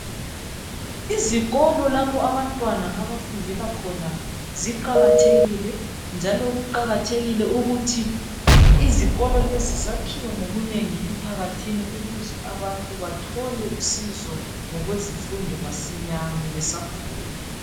Izikolo lapho abantwana abafundela khona ziqakathekile . Njalo kuqakathekile ukuthi izikolo lezi zakhiwe ngobunengi emphakathini ukuze abantu bathole usizo ngokwezifundo masinyane besakhula .